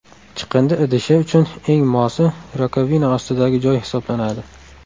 Chiqindi idishi uchun eng mosi rakovina ostidagi joy hisoblanadi.